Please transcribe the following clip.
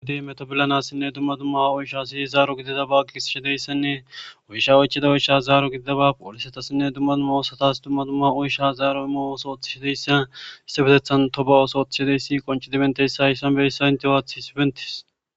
Adye meto bilanesinne dumma dumma oushasi zaro gididaysa gigisish dizaysanne oycha oychidabas zaro gididaysa posiletas zaro imishe , issipetethan tobe oso othishe dizaysi betes